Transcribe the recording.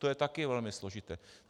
To je také velmi složité.